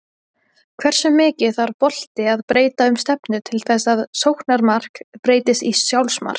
Hversu mikið þarf bolti að breyta um stefnu til þess að sóknarmark breytist í sjálfsmark?